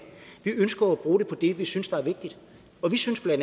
vi ønsker at bruge det på det vi synes er vigtigt og vi synes bla at